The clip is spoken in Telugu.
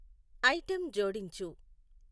ఐటెం జోడించు.